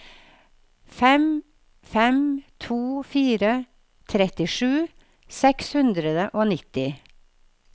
fem fem to fire trettisju seks hundre og nitti